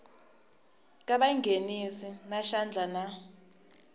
ka vanghenisi va xandla na